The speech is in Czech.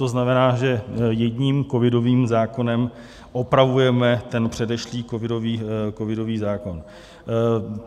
To znamená, že jedním covidovým zákonem opravujeme ten předešlý covidový zákon.